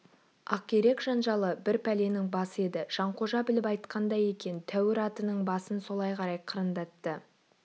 ақирек жанжалы бір пәленің басы еді жанқожа біліп айтқандай екен тәуір атының басын солай қарай қырындатты